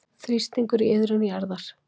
Þrýstingur í iðrum jarðar